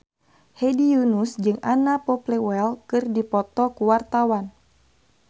Hedi Yunus jeung Anna Popplewell keur dipoto ku wartawan